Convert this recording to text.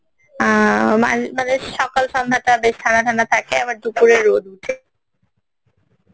আহ মানে সকাল সন্ধেটা বেশ ঠান্ডা ঠান্ডা থাকে আবার দুপুরে রোদ ওঠে